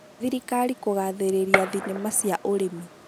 thirikari kũgathĩrĩria thinema cia ũrĩmĩ